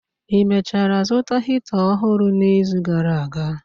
Ị mechara zụta Hita ọhụrụ n'izu gara aga?